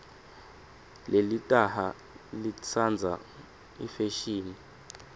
lelitaha litsandza ifeshini